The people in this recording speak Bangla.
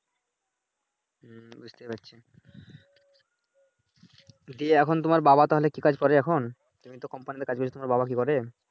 বুঝতেই পারছো জ্বী এখন তোমার বাবা তাহলে কি কাজ করে এখন তুমি তো কোম্পানিতে কাজ নিয়ে ব্যস্ত তোমার বাবা কি করে